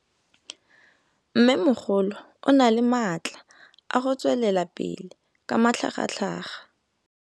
Mmêmogolo o na le matla a go tswelela pele ka matlhagatlhaga.